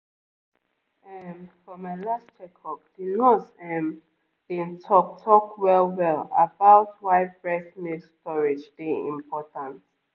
ehm for my last checkup the nurse ehm been talk talk well-well about why breast milk storage dey important